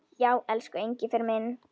Já, elsku Engifer minn.